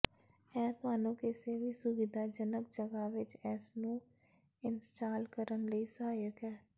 ਇਹ ਤੁਹਾਨੂੰ ਕਿਸੇ ਵੀ ਸੁਵਿਧਾਜਨਕ ਜਗ੍ਹਾ ਵਿੱਚ ਇਸ ਨੂੰ ਇੰਸਟਾਲ ਕਰਨ ਲਈ ਸਹਾਇਕ ਹੈ